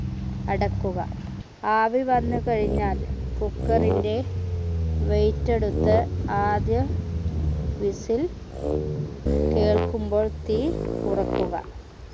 അടക്കുക ആവി വന്നു കഴിഞ്ഞാൽ cooker ന്റെ weight എടുത്ത് ആദ്യ whistle കേൾക്കുമ്പോൾ തീ കുറയ്ക്കുക